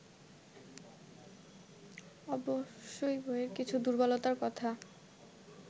অবশ্য বইয়ের কিছু দুর্বলতার কথা